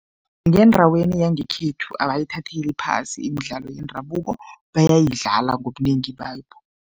Ngendaweni yangekhethu abayithatheli phasi imidlalo yendabuko, bayayidlala ngobunengi bayo.